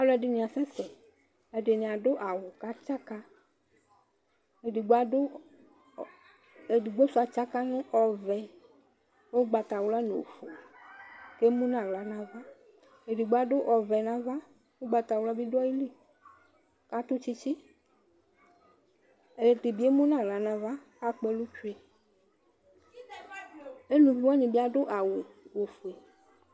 Alʋ ɛdini asɛsɛ ɛdini adʋ awʋ kʋ atsaka edigbo sʋ atsaka nʋ ɔvɛ kʋ ʋgbatawla nʋ ofue kʋ emʋnʋ aɣla nʋ ava edigbo adʋ ɔvɛ nʋ ava ʋgbatawla bi dʋ ayili atʋ tsitsi ɛdibi emʋnʋ aɣla nʋ ava akpɔ ɛlʋ tsue elʋvi wani bi adʋ awʋ ofue